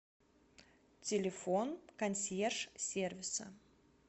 телефон консьерж сервиса